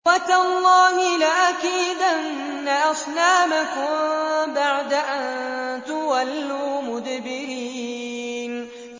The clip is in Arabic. وَتَاللَّهِ لَأَكِيدَنَّ أَصْنَامَكُم بَعْدَ أَن تُوَلُّوا مُدْبِرِينَ